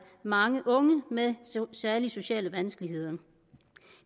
mange unge med særlige sociale vanskeligheder